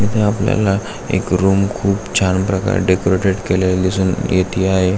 इथे आपल्याला एक रूम खूप छान प्रकारे डेकोरटेड केलेले दिसून येते आहे.